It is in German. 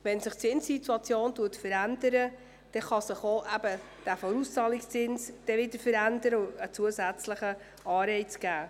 Wenn sich die Zinssituation verändert, kann sich auch dieser Vorauszahlungszins wieder verändern und damit ein zusätzlicher Anreiz geschaffen werden.